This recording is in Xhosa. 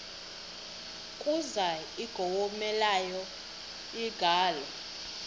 kuza ingowomeleleyo ingalo